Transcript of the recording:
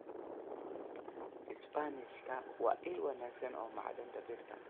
Isbaanishka waa il wanaagsan oo macdanta birta.